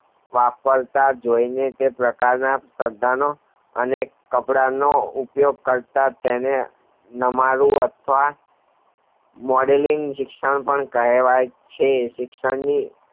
વાપરતા હોયને તે પ્રકારના સ્પર્ધાનો અને કપડાનો ઉયોગ કરતા નમાવું અથવા modling શિક્ષણ કહેવાય છે શિક્ષણની